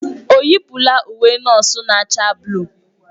Ọ yipụla uwe nọọsụ na-acha buluu?